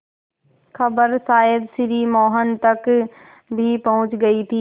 खबर शायद श्री मोहन तक भी पहुँच गई थी